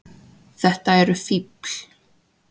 Þetta eru fífl.